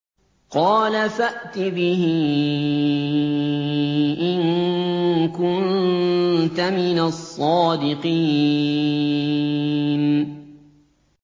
قَالَ فَأْتِ بِهِ إِن كُنتَ مِنَ الصَّادِقِينَ